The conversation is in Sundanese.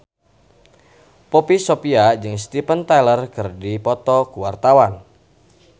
Poppy Sovia jeung Steven Tyler keur dipoto ku wartawan